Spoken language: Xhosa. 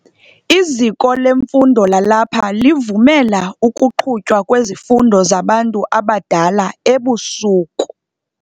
Iziko lemfundo lalapha livumela ukuqhutywa kwezifundo zabantu abadala ebusuku.